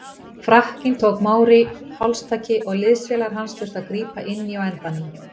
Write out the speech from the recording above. Frakkinn tók Mauri hálstaki og liðsfélagar hans þurftu að grípa inn í á endanum.